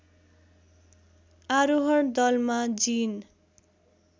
आरोहण दलमा जिन